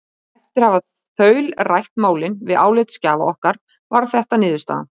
Eftir að hafa þaulrætt málin við álitsgjafa okkar varð þetta niðurstaðan: